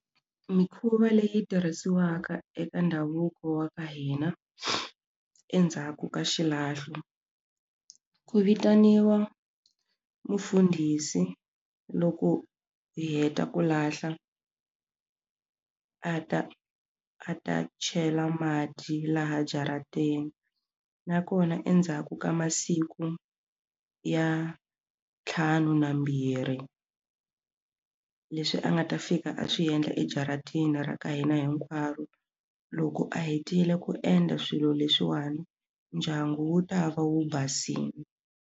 Mikhuva leyi tirhisiwaka eka ndhavuko wa ka hina endzhaku ka xilahlo ku vitaniwa mufundhisi loko hi heta ku lahla a ta a ta chela mati laha jarateni nakona endzhaku ka masiku ya ntlhanu na mbirhi leswi a nga ta fika a swi endla ejaratini ra ka hina hinkwaro loko a hetile ku endla swilo leswiwani ndyangu wu ta va wu basile.